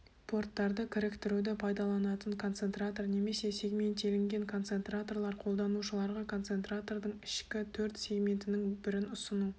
порттарды кіріктіруді пайдаланатын концентратор немесе сегментелінген концентраторлар қолданушыларға концентратордың ішкі төрт сегментінің бірін ұсыну